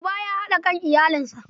Uba ya haɗa kan iyalinsa.